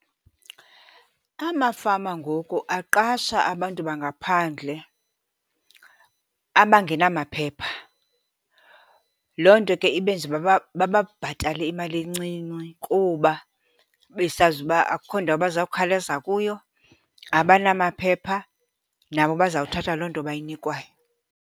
Amafama ngoku aqasha abantu bangaphandle abangenamaphepha. Loo nto ke ibenze uba bababhatale imali encinci kuba besazi uba akukho ndawo bazawukhalaza kuyo, abanamaphepha, nabo bazawuthatha loo nto bayinikwayo.